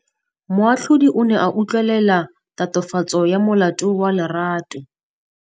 Moatlhodi o ne a utlwelela tatofatsô ya molato wa Lerato.